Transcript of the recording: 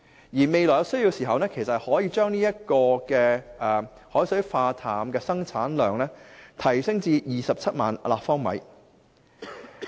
如果未來有需要，可把海水化淡廠的生產量提升至27萬立方米。